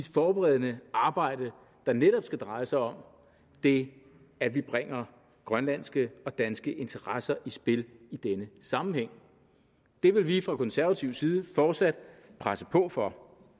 forberedende arbejde der netop skal dreje sig om det at vi bringer grønlandske og danske interesser i spil i denne sammenhæng det vil vi fra konservativ side fortsat presse på for